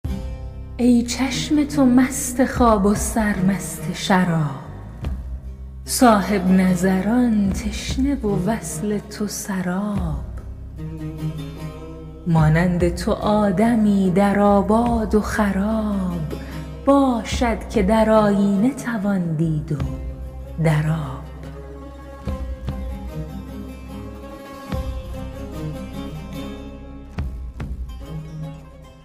ای چشم تو مست خواب و سرمست شراب صاحب نظران تشنه و وصل تو سراب مانند تو آدمی در آباد و خراب باشد که در آیینه توان دید و در آب